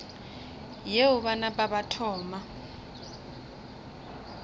yeo ba napa ba thoma